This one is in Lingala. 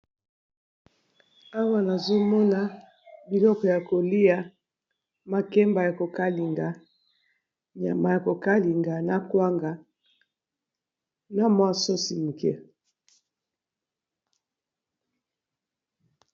Awa nazomona biloko ya kolia makemba ya kokalinga nyama ya kokalinga na kwanga na mwa sosi moke.